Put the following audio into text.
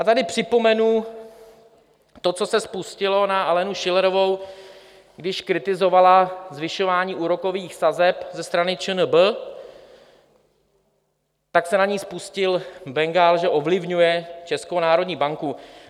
A tady připomenu to, co se spustilo na Alenu Schillerovou, když kritizovala zvyšování úrokových sazeb ze strany ČNB, tak se na ni spustil bengál, že ovlivňuje Českou národní banku.